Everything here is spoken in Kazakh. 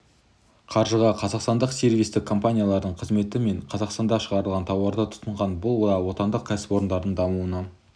қаржыға қазақстандық сервистік компаниялардың қызметі мен қазақстанда шығарылған тауарды тұтынған бұл да отандық кәсіпорындардың дамуына